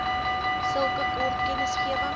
sulke kort kennisgewing